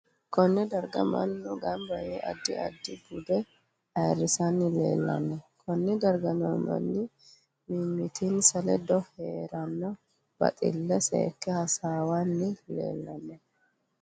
Konne darga mannu ganba yee addi addi bude ayiirisanni leelanno konne darga noo manni mimitinsa ledo heeranno baxille seeke hasaawanni leelanno